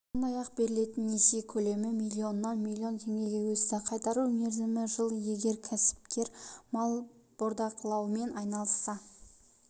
сондай-ақ берілетін несие көлемі миллионнан миллион теңгеге өсті қайтару мерзімі жыл егер кәсіпкер мал бордақылаумен айналысса